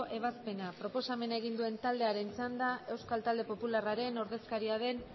ebazpena proposamena egin duen taldearen txanda euskal talde popularraren ordezkaria den